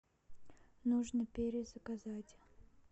нужно перезаказать